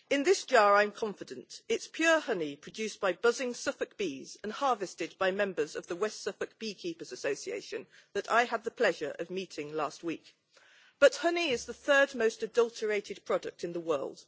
In this jar I am confident it is pure honey produced by buzzing Suffolk bees and harvested by members of the West Suffolk Beekeepers' Association that I had the pleasure of meeting last week. But honey is the third most adulterated product in the world.